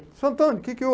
Seu Antônio, o que que